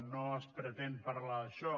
no es pretén parlar d’això